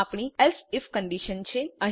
આ આપણી else I F condition છે